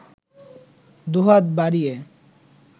দুহাত বাড়িয়ে